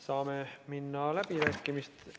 Saame minna läbirääkimiste juurde ...